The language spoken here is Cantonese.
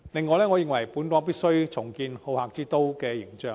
我認為本港必須重建好客之都的形象。